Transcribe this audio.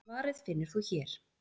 Svarið finnur þú hér.